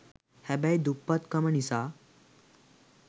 හැබැයි දුප්පත් කම නිසා